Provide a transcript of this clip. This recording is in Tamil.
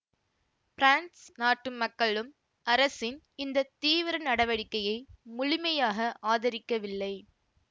பிரான்சு நாட்டு மக்களும் அரசின் இந்த தீவிர நடவடிக்கையை முழுமையாக ஆதரிக்கவில்லை